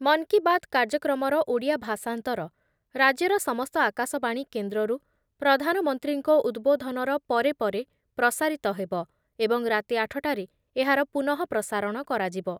ମନ୍ କି ବାତ୍ କାର୍ଯ୍ୟକ୍ରମର ଓଡ଼ିଆ ଭାଷାନ୍ତର ରାଜ୍ୟର ସମସ୍ତ ଆକାଶବାଣୀ କେନ୍ଦ୍ରରୁ ପ୍ରଧାନମନ୍ତ୍ରୀଙ୍କ ଉଦ୍‌ବୋଧନର ପରେ ପରେ ପ୍ରସାରିତ ହେବ ଏବଂ ରାତି ଆଠ ଟାରେ ଏହାର ପୁନଃ ପ୍ରସାରଣ କରାଯିବ ।